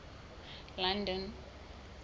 london